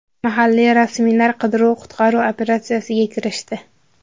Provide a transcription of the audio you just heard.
Mahalliy rasmiylar qidiruv-qutqaruv operatsiyasiga kirishdi.